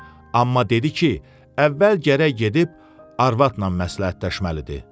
Amma dedi ki, əvvəl gərək gedib arvadla məsləhətləşməlidir.